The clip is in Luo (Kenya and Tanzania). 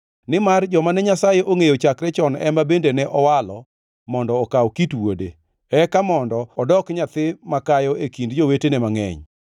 Nimar joma ne Nyasaye ongʼeyo chakre chon ema bende ne owalo mondo okaw kit Wuode, eka mondo odok nyathi makayo e kind jowetene mangʼeny.